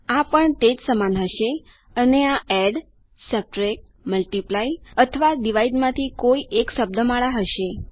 આ પણ તે સમાન જ હશે અને આ એડ સબટ્રેક્ટ મલ્ટિપ્લાય અથવા ડિવાઇડ માંથી કોઈ એક શબ્દમાળા હશે